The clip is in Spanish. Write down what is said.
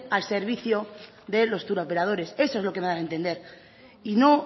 al servicios de los touroperadores eso es lo que me da a entender y no